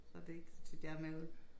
Så det ikke så tit jeg er med ude